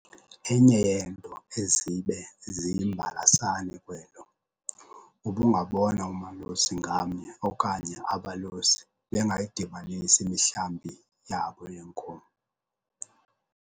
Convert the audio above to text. Enye yeento ezibe ziyimbalasane kwelo, ubungabona umalusi ngamnye okanye abalusi bengayidibanisi imihlambi yabo yeenkomo.